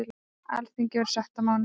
Alþingi verður sett á mánudag.